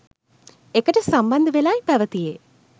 එකට සම්බන්ධ වෙලායි පැවතියේ.